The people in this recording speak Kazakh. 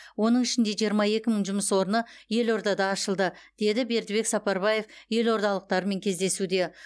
оның ішінде жиырма екі мың жұмыс орны елордада ашылды деді бердібек сапарбаев елордалықтармен кездесуде